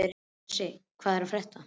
Bresi, hvað er að frétta?